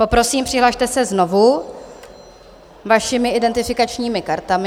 Poprosím, přihlaste se znovu vašimi identifikačními kartami.